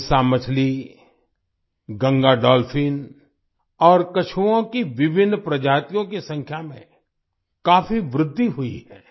हिल्सा मछली गंगा डॉल्फिन और कछुवों की विभिन्न प्रजातियों की संख्या में काफी वृद्धि हुई है